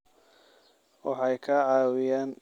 Waxay ka caawiyaan bixinta waxbarashada nafaqada.